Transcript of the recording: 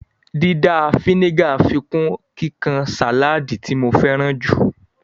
Dídà a fínígà ń fikún kíkan sáláádì tí mo féràn jù